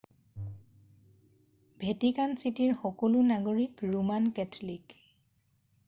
Vatican চিটিৰ সকলো নাগৰিক ৰোমান কেথলিক